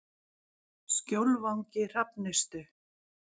Skjólvangi Hrafnistu